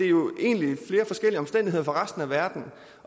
jo egentlig flere forskellige omstændigheder i resten af verden